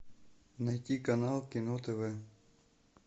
найти канал кино тв